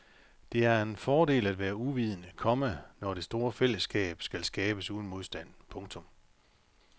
Det er en fordel at være uvidende, komma når det store fællesskab skal skabes uden modstand. punktum